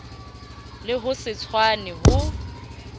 le ho se tshwane ho